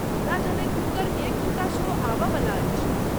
हमरा जनैत हुनकर एक दू टा शो आबयवला अछि।